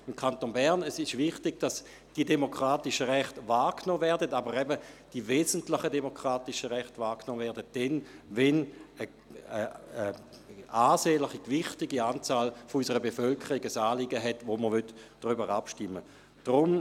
Im Kanton Bern ist es wichtig, dass die demokratischen Rechte wahrgenommen werden, aber eben die wesentlichen demokratischen Rechte, nämlich dann, wenn ein ansehnlicher, gewichtiger Teil unserer Bevölkerung ein Anliegen hat, über das wir abstimmen wollen.